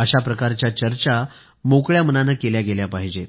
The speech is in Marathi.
अशाप्रकारच्या चर्चा मोकळ्या मनानं केल्या गेल्या पाहिजेत